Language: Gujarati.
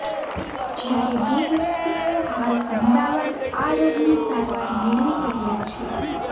જ્યારે બે વ્યક્તિઓ હાલ અમદાવાદ આ રોગની સારવાર મેળવી રહ્યા છે